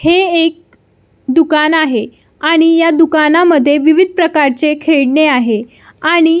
हे एक दुकान आहे आणि या दुकानामद्धे विविध प्रकारचे खेळणे आहे आणि--